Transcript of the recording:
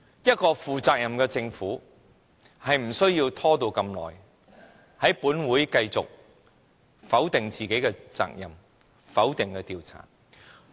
一個負責任的政府，是不會拖延這麼久的，也不會在本會繼續否定自己的責任，否定調查。